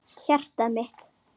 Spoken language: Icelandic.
Hjartað mitt,